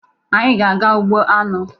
Anyị ga-aga ugbo aṅụ.